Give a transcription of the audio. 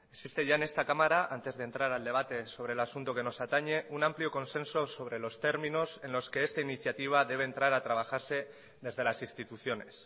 existe ya en esta cámara antes de entrar al debate sobre el asunto que nos atañe un amplio consenso sobre los términos en los que esta iniciativa debe entrar a trabajarse desde las instituciones